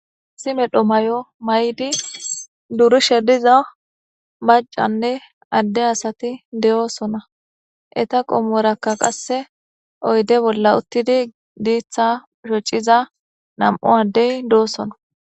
Issi medhdho maayo mayidi durishshe diiza macanne ade asati dosona etta qomorakka qasse oydde bolla utidi diiththa shocciza nam7u adey dosona.